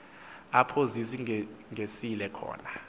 apho zisingisele khona